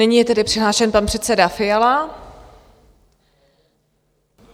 Nyní je tedy přihlášen pan předseda Fiala.